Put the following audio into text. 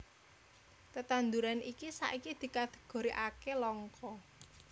Tetanduran iki saiki dikategorikaké langka